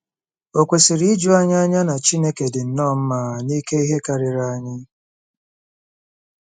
Ò kwesịrị iju anyị anya na Chineke dị nnọọ mma n'ike ihe karịa anyị?